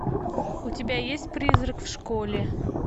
у тебя есть призрак в школе